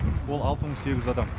ол алты мың сегіз жүз адам